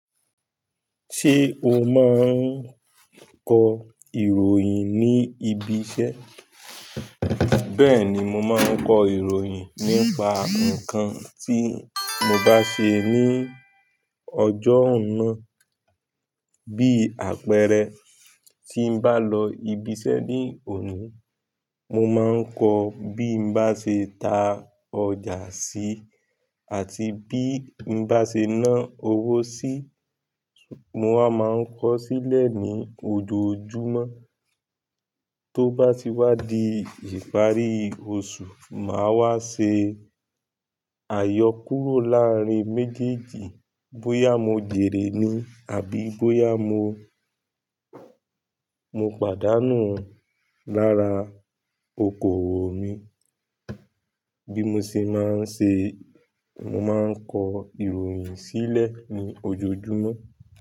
Ṣé o máa ń kọ ìròyìn ní ibi iṣẹ́? Bẹ́ẹ̀ni, mo máa ń ko ìròyìn nípa nǹkan tí mo bá ṣe ní ọjọ́ náà, bí àpẹẹrẹ, tí ń bá lọ ibi iṣẹ́ ní òní, mo máa ń kọ bí mo bá ṣe tà ọjà si àti bí mo bá ṣe ná owó sí, mo wá máa ń kọ sílẹ̀ ní ojoojúmọ́. Tó bá ti wá di ìparí oṣù, máa wá ṣe àyọkúrọ̀ láàárín méjèèjì bóyá mo jèrè ni àbí bóyá mo, mo pàdánù lára okòwò mi. Bí mo ṣe máa ń ṣe, mo máa ń kọ ìròyìn sílẹ̀ ní ojoojúmọ́.